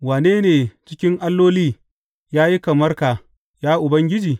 Wane ne cikin alloli, ya yi kamar ka, ya Ubangiji?